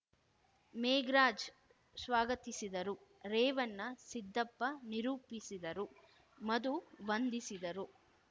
ಮೇಘ್ ರಾಜ್‌ ಸ್ವಾಗತಿಸಿದರು ರೇವಣ್ಣ ಸಿದ್ದಪ್ಪ ನಿರೂಪಿಸಿದರು ಮಧು ವಂದಿಸಿದರು